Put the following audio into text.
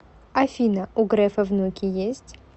афина у грефа внуки есть